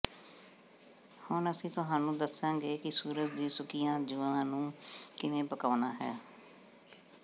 ਹੁਣ ਅਸੀਂ ਤੁਹਾਨੂੰ ਦੱਸਾਂਗੇ ਕਿ ਸੂਰਜ ਦੀ ਸੁੱਕੀਆਂ ਜੂਆਂ ਨੂੰ ਕਿਵੇਂ ਪਕਾਉਣਾ ਹੈ